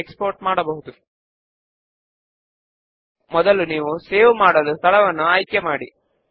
8 వ step name ను set చేయండి